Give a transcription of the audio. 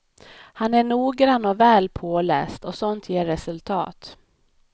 Han är noggrann och väl påläst och sånt ger resultat.